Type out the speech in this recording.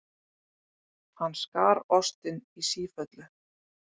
Hann skar ostinn í sífellu.